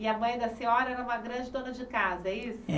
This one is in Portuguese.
E a mãe da senhora era uma grande dona de casa, é isso? É